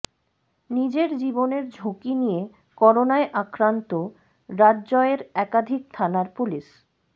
নিজের জীবনের ঝুঁকি নিয়ে করোনায় আক্রান্ত রাজ্য়ের একাধিক থানার পুলিশ